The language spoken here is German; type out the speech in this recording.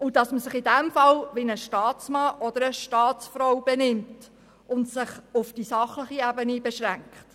Es bedeutet, dass man sich in diesem Fall wie ein Staatsmann oder eine Staatsfrau benimmt und sich auf die sachliche Ebene beschränkt.